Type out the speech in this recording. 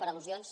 per al·lusions